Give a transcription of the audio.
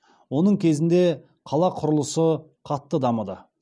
оның кезінде қала құрылысы қатты дамыды